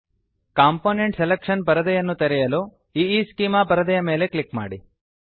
component selection ಪರದೆಯನ್ನು ತೆರೆಯಲು ಈಸ್ಚೆಮಾ ಪರದೆಯ ಮೇಲೆ ಕ್ಲಿಕ್ ಮಾಡಿ